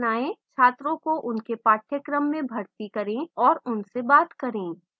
छात्रों को उनके पाठ्यक्रम में भर्ती करें और उनसे बात करें